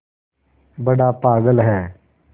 बड़ा पागल है